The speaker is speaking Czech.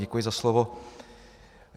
Děkuji za slovo.